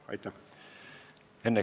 Aitäh!